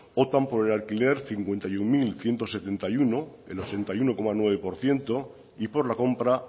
optan por el alquiler cincuenta y uno mil ciento setenta y uno el ochenta y uno coma nueve por ciento y por la compra